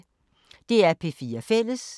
DR P4 Fælles